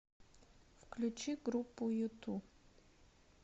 включи группу юту